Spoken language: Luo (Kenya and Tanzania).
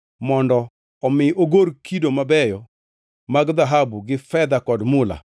mondo omi ogor kido mabeyo mag dhahabu gi fedha kod mula,